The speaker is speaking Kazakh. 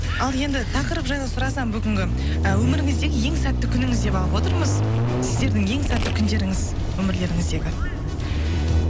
ал енді тақырып жайлы сұрасам бүгінгі ы өміріңіздегі ең сәтті күніңіз деп алып отырмыз сіздердің ең сәтті күндеріңіз өмірлеріңіздегі